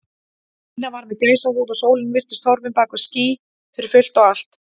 Nína var með gæsahúð og sólin virtist horfin bak við ský fyrir fullt og allt.